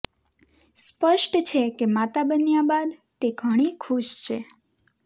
સ્પષ્ટ છે કે માતા બન્યા બાદ તે ઘણી ખુશ છે